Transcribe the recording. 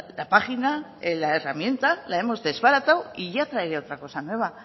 la página la herramienta la hemos desbaratado y ya traeré otra cosa nueva